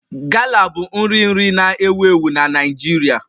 Gala bụ nri nri na-ewu ewu na Naịjirịa